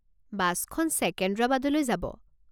বাছখন ছেকেন্দ্ৰাবাদলৈ যাব।